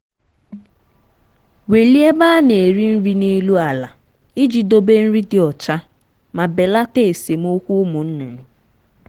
welie ebe a na-eri nri n’elu ala iji dobe nri dị ọcha ma belata esemokwu ụmụ nnụnụ.